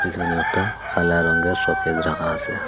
পিছনে একটা কালা রঙ্গের শোকেস রাখা আছে।